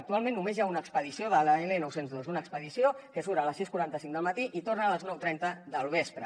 actualment només hi ha una expedició de l’l nou cents i dos una expedició que surt a les sis cents i quaranta cinc del matí i torna a les nou cents i trenta del vespre